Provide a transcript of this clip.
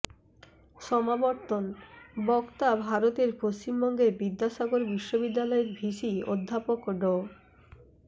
সমাবর্তন বক্তা ভারতের পশ্চিমবঙ্গের বিদ্যাসাগর বিশ্ববিদ্যালয়ের ভিসি অধ্যাপক ড